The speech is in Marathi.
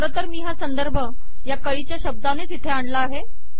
खारतर मी हा संदर्भ या कळीच्या शब्दाने तिथे आणला आहे